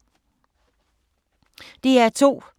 DR2